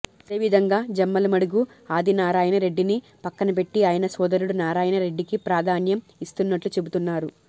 అదే విధంగా జమ్మలమడుగు ఆదినారాయణ రెడ్డిని పక్కన పెట్టి ఆయన సోదరుడు నారాయణ రెడ్డికి ప్రాధాన్యం ఇస్తున్నట్లు చెబుతున్నారు